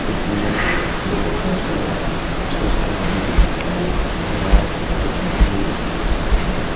इसमे पेड़-पौधे दिख रहे है। घास दिख रही है।